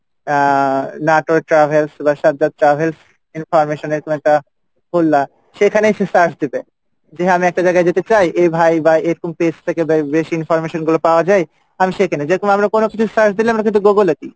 আহ নাটোরে travels বা travels information এরকম একটা করলা সেখানেই সে search দিবে যে আমি একটা জায়গা যেতে চাই এই ভাই বা এরকম page থেকে বে~ বেশ information গুলো পাওয়া যাই আমি সেখানে যেরকম আমরা কোনো কিছু search দিলে আমরা কিন্তু Google এ দিই,